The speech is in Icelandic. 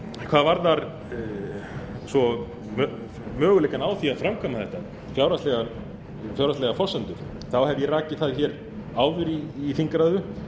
hvað varðar svo möguleikana á því að framkvæma þetta fjárhagslegar forsendur þá hef ég rakið það áður í þingræðu